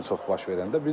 Ən çox baş verəndə.